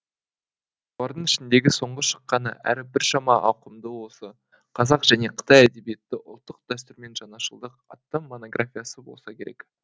солардың ішіндегі соңғы шыққаны әрі біршама ауқымдысы осы қазақ және қытай әдебиеті ұлттық дәстүр мен жаңашылдық атты монографиясы болса керек